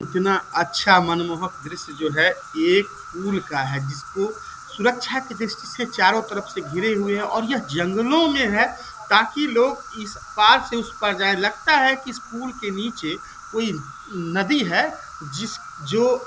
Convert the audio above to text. इतना अच्छा मनमोहक दृश्य जो है एक पूल का है जिसको सुरक्षा की दृष्टि से चारों तरफ से घिरे हुए हैं और यह जंगलों में है ताकि लोग इस पार से उस पार जाए लगता है की इस पूल के नीचे कोई नदी है जिस जो --